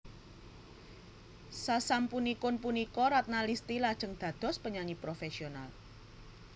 Sasampunipun punika Ratna Listy lajeng dados penyanyi profesional